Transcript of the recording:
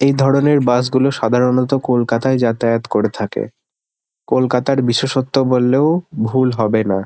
এইধরণের bus -গুলো সাধারণত কোলকাতায় যাতায়াত করে থাকে। কোলকাতার বিশেষত্ব বললেও ভুল হবে না।